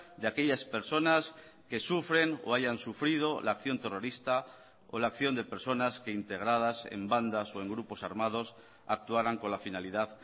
de aquellas personas que sufren o hayan sufrido la acción terrorista o la acción de personas que integradas en bandas o en grupos armados actuarán con la finalidad